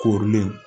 Korilen